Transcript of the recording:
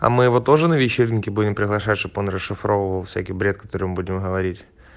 а мы его тоже на вечеринки будем приглашать чтобы он расшифровал всякий бред который мы будем говорить